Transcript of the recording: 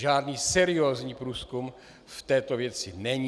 Žádný seriózní průzkum v této věci není.